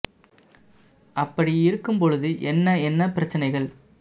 அப்படி இருக்கும் பொழுது என்ன என்ன பிரச்சனைகள்